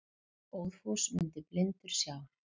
Óðfús mundi blindur sjá.